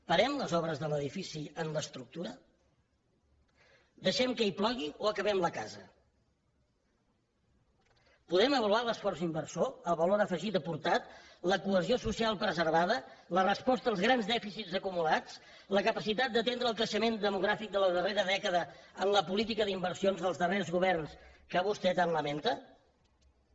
parem les obres de l’edifici en l’estructura deixem que hi plogui o acabem la casa podem avaluar l’esforç inversor el valor afegit aportat la cohesió social preservada la resposta als grans dèficits acumulats la capacitat d’atendre el creixement demogràfic de la darrera dècada en la política d’inversions dels darrers governs que vostè tan lamenta hi ha